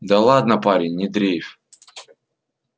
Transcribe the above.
да ладно парень не дрейфь